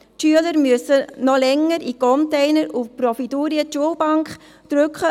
die Schüler müssen noch länger in Containern und «Providurien» die Schulbank drücken.